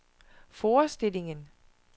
forestillingen